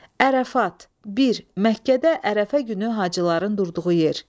Ərəfat, bir, Məkkədə Ərəfə günü hacıların durduğu yer.